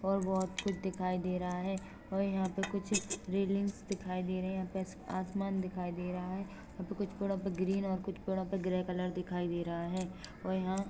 और बहुत कुछ दिखाई दे रहा है और यहाँ पे कुछ रीलिंगस दिखाई दे रहा है यहाँ पे आसमान दिखाई दे रहा है यहाँ पर कुछ पेड़ों पर ग्रीन और कुछ पेड़ो पे ग्रे कलर दिखाई दे रहा है और यहां--